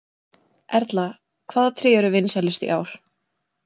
Erla, hvaða tré eru vinsælust í ár?